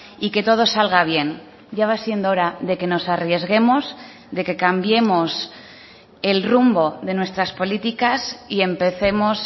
y que todo salga bien ya va siendo hora de que nos arriesguemos de que cambiemos el rumbo de nuestras políticas y empecemos